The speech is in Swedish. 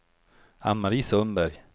Ann-Mari Sundberg